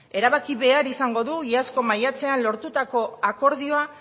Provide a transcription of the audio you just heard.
erabaki behar izango du iazko maiatzean lortutako akordioa